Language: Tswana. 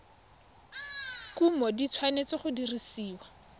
kumo di tshwanetse go dirisiwa